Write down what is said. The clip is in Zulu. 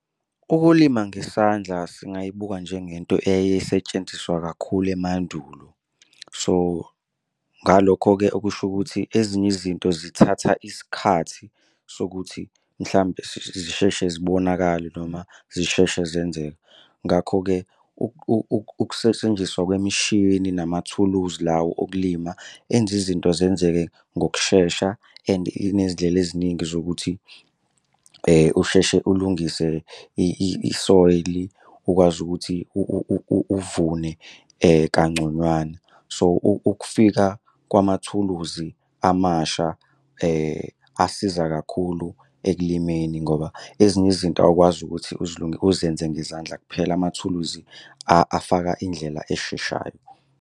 Ukulima ngesandla singayibuki njengento eyayisetshenziswa kakhulu emandulo. So ngalokho-ke okusho ukuthi ezinye izinto zithatha isikhathi sokuthi mhlampe zisheshe zibonakale noma zisheshe zenzeka. Ngakho-ke ukusetshenziswa kwemishini namathuluzi lawo okulima enza izinto zenzeke ngokushesha. And inezindlela eziningi zokuthi usheshe ulungise i-soil ukwazi ukuthi uvune kangconywana. So ukufika kwamathuluzi amasha asiza kakhulu ekulimeni ngoba ezinye izinto awukwazi ukuthi uzenze ngezandla kuphela amathuluzi afaka indlela esheshayo.